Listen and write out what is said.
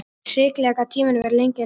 Hrikalega gat tíminn verið lengi að líða.